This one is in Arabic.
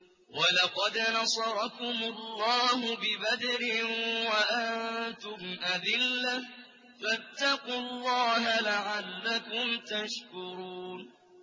وَلَقَدْ نَصَرَكُمُ اللَّهُ بِبَدْرٍ وَأَنتُمْ أَذِلَّةٌ ۖ فَاتَّقُوا اللَّهَ لَعَلَّكُمْ تَشْكُرُونَ